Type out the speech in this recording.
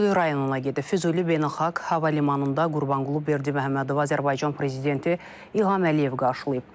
Füzuli Beynəlxalq Hava limanında Qurbanqulu Berdiməhəmmədovu Azərbaycan prezidenti İlham Əliyev qarşılayıb.